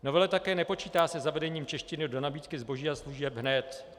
Novela také nepočítá se zavedením češtiny do nabídky zboží a služeb hned.